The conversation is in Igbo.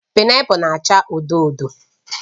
Painapul na-acha odo odo